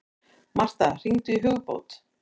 Martha, hringdu í Hugbót.